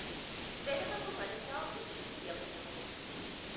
వెఱవకు మనసా విష్ణుని యభయము।